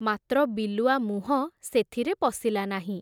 ମାତ୍ର ବିଲୁଆ ମୁହଁ ସେଥିରେ ପଶିଲା ନାହିଁ ।